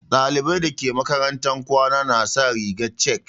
Ɗalibai dake makaranta na kwana na sa rigar chek.